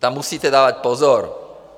Tam musíte dávat pozor.